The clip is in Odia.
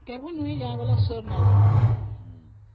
କେବେ ବୁଲି ଯିବୁ sure ନାହିଁ